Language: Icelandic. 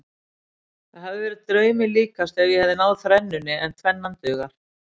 Það hefði verið draumi líkast ef ég hefði náð þrennunni en tvennan dugar.